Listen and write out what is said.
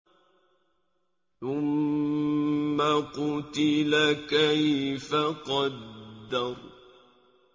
ثُمَّ قُتِلَ كَيْفَ قَدَّرَ